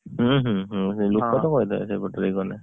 ହୁଁ ହୁଁ ହଁ, ଲୋକ ତ କହିଦେବେ ସେଇପଟେ ଗଲେ।